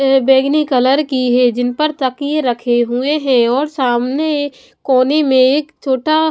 बैगनी कलर की हैजिन पर तकिए रखे हुए हैं और सामने कोने में एक छोटा--